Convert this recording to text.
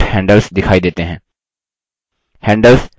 ऐसा करने पर on handles दिखाई देते हैं